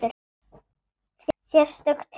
Sérstök tilvik.